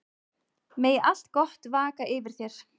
Megi allt gott vaka yfir þér.